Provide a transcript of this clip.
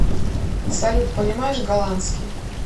салют понимаешь голландский